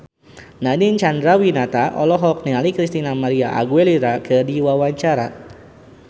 Nadine Chandrawinata olohok ningali Christina María Aguilera keur diwawancara